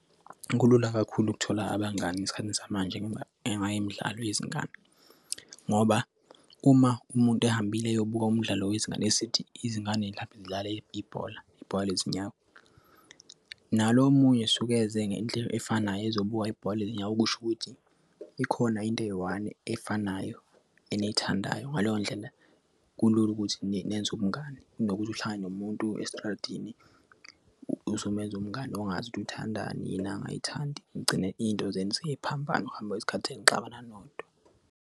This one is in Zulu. Kulula kakhulu ukuthola abangane esikhathini samanje ngoba engake imidlalo yezingane ngoba uma umuntu ehambile eyobuka umdlalo wezingane esithi izingane zidlale ibhola, ibhola lezinyawo nalo omunye suke eze ngendlela efanayo ezobuka ibhola lezinyawo, okusho ukuthi ikhona into eyi-one ey'fanayo and eyithandayo. Ngaleyo ndlela kulula ukuthi nenze ubungani nokuthi uhlale nomuntu esitradini uzomenza umngani ongazi ukuthi uthandani yini abangayithandi. Ngigcine into zenu siziphambana ukuhamba ngesikhathi senixabana nodwa.